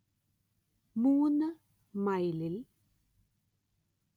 മൂന് മൈലിൽ